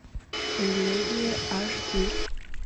элегия аш ди